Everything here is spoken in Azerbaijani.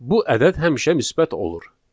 Bu ədəd həmişə müsbət olur.